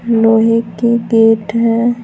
लोहे के गेट है।